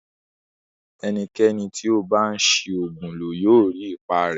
Ẹnikẹni tí ó bá ń ṣi oògùn lò yóò rí ipa rẹ̀